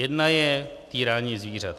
Jedna je - týrání zvířat.